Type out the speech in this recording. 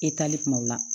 E taali kuma o la